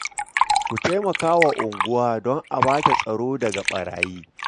Ku taimaka wa unguwa don a ba ta tsaro daga ɓarayi